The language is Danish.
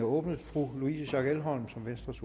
åbnet fru louise schack elholm som venstres